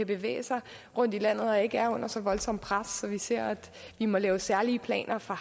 bevæge sig rundt i landet og ikke er under så voldsomt et pres at vi ser at vi må lave særlige planer for